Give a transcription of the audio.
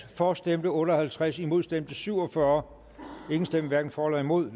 for stemte otte og halvtreds imod stemte syv og fyrre hverken for eller imod